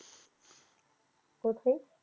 কথে?